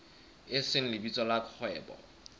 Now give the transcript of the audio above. e seng lebitso la kgwebo